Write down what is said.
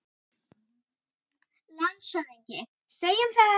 LANDSHÖFÐINGI: Segjum það.